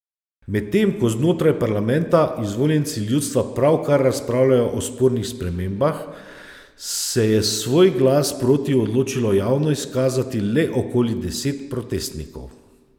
Medtem ko znotraj parlamenta izvoljenci ljudstva pravkar razpravljajo o spornih spremembah, se je svoj glas proti odločilo javno izkazati le okoli deset protestnikov.